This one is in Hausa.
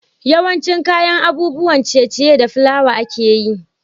yawancin kayan abun ciye ciye da fulawa ake yi